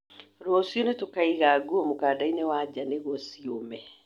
Rũciũ nĩ tũkaĩga nguo mukandaĩnĩ wa njaa nigũo ciũme